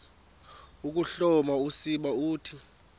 ukuhloma usiba uthi